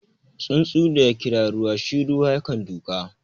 Tsuntsun daya kira ruwa, shi ruwa kan duka.